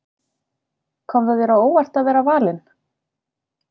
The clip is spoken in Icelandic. Kom það þér á óvart að vera valinn?